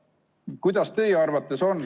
Härra Poolamets, teie aeg!